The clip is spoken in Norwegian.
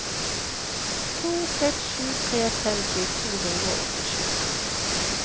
to seks sju tre femti to hundre og åttisju